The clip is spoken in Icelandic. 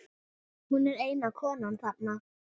Hún er eina konan þarna.